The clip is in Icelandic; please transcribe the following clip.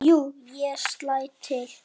Jú, ég slæ til